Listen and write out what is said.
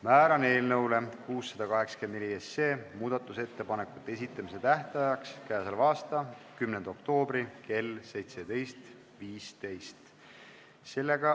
Määran eelnõu 684 muudatusettepanekute esitamise tähtajaks k.a 10. oktoobri kell 17.15.